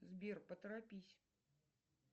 сбер поторопись